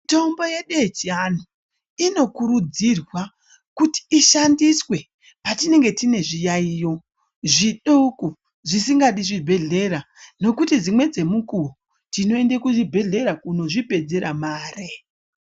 Mitombo yedu yechianhu ino kurudzirwa kuti ishandiswe patinenge tine zviyayiyo zvidoko zvisingadi zvibhedhlera nekuti dzimwe dzemukuwo tinoenda kuchibhedhlera kuno zvipedzera mare .